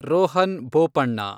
Rohan Bopanna